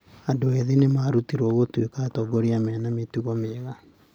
Andũ ethĩ nĩ maarutĩrwo gũtuĩka atongoria mena mĩtugo mĩega.